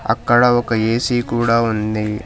అక్కడ ఒక ఏ_సీ కూడా ఉంది.